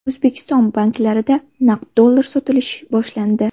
O‘zbekiston banklarida naqd dollar sotilishi boshlandi.